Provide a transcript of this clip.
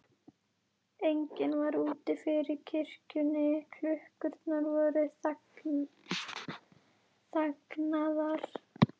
Enginn var úti fyrir kirkjunni, klukkurnar voru þagnaðar.